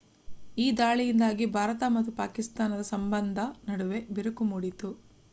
ಈ ದಾಳಿಯಿಂದಾಗಿ ಭಾರತ ಮತ್ತು ಪಾಕಿಸ್ತಾನದ ಸಂಬಂಧದ ನಡುವೆ ಬಿರುಕು ಮೂಡಿತು